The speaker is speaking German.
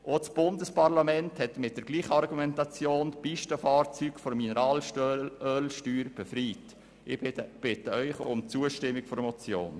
Mit derselben Argumentation hat auch das Bundesparlament die Pistenfahrzeuge von der Mineralölsteuer befreit, und zwar gegen den Willen des Bundesrats.